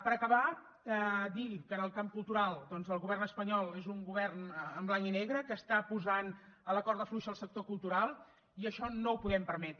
per acabar dir que en el camp cultural doncs el govern espanyol és un govern en blanc i negre que està posant a la corda fluixa el sector cultural i això no ho podem permetre